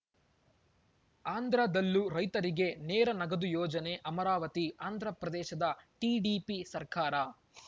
ಆಂಧ್ರದಲ್ಲೂ ರೈತರಿಗೆ ನೇರ ನಗದು ಯೋಜನೆ ಅಮರಾವತಿ ಆಂಧ್ರಪ್ರದೇಶದ ಟಿಡಿಪಿ ಸರ್ಕಾರ